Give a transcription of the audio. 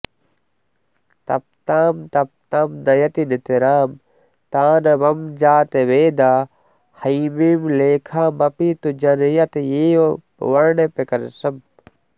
तप्तां तप्तां नयति नितरां तानवं जातवेदा हैमीं लेखामपि तु जनयत्येव वर्णप्रकर्षम्